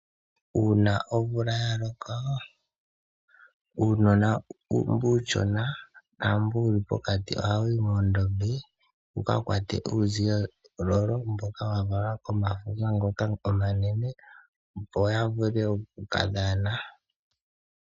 Uuna omvula ya loko uunona mbu uushona naambu wuli pokati ohawu yi moondombe wuka kwate uuvolovolo mboka wa valwa komafuma ngoka omanene opo ya vule oku kadhana.